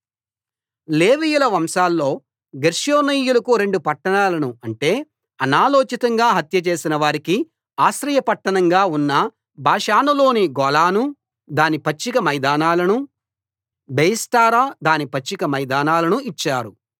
లేవీయుల వంశాల్లో గెర్షోనీయులకు రెండు పట్టణాలను అంటే అనాలోచితంగా హత్యచేసిన వారికి ఆశ్రయ పట్టణంగా ఉన్న బాషానులోని గోలాను దాని పచ్చిక మైదానాలనూ బెయెష్టెరా దాని పచ్చిక మైదానాలనూ ఇచ్చారు